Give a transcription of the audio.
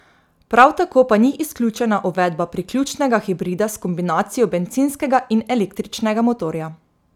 Prav tako pa ni izključena uvedba priključnega hibrida s kombinacijo bencinskega in električnega motorja.